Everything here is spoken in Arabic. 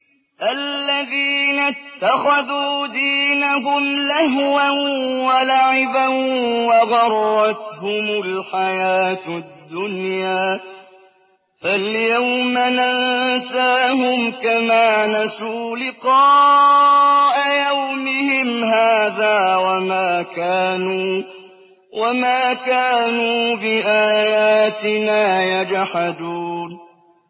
الَّذِينَ اتَّخَذُوا دِينَهُمْ لَهْوًا وَلَعِبًا وَغَرَّتْهُمُ الْحَيَاةُ الدُّنْيَا ۚ فَالْيَوْمَ نَنسَاهُمْ كَمَا نَسُوا لِقَاءَ يَوْمِهِمْ هَٰذَا وَمَا كَانُوا بِآيَاتِنَا يَجْحَدُونَ